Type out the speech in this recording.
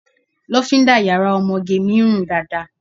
Lofinda yàrá ọmọge mi run dáadáa.